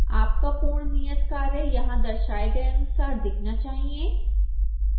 आपका पूर्ण नियतकार्य यहां दर्शाए गए अनुसार दिखना चाहिए